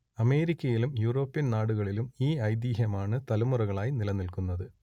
അമേരിക്കയിലും യൂറോപ്യൻ നാടുകളിലും ഈ ഐതിഹ്യമാണ് തലമുറകളായി നിലനിൽക്കുന്നത്